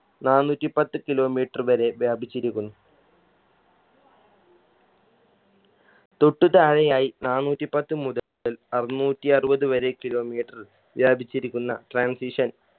നാനൂറ്റിപ്പത്ത് kilometer വരെ വ്യാപിച്ചിരിക്കുന്നു തൊട്ട് താഴെയായി നാനൂറ്റിപ്പത്ത് മുതൽ അറുന്നൂറ്റി അറുപത് വരെ kilometer വ്യാപിച്ചിരിക്കുന്ന transition